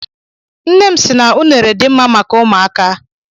Nne m sị na unere dị mma maka ụmụaka.